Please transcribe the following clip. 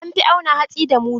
An fi auna hatsi da mudu.